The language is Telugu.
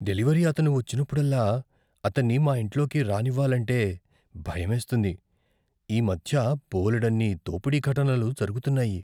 డెలివరీ అతను వచ్చినప్పుడల్లా, అతన్ని మా ఇంట్లోకి రానివ్వాలంటే భయమేస్తుంది. ఈ మధ్య బోలెడన్ని దోపిడీ ఘటనలు జరుగుతున్నాయి.